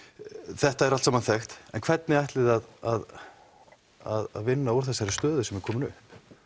þetta er allt saman þekkt en hvernig ætlið þið að að vinna úr þessari stöðu sem er komin upp